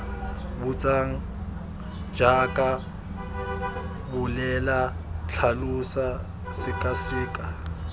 botsang jaaka bolela tlhalosa sekaseka